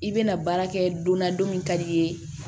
I bɛna baara kɛ donna don min ka di i ye